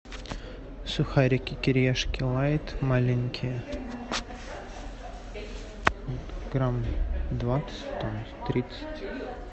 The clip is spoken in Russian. сухарики кириешки лайт маленькие грамм двадцать там тридцать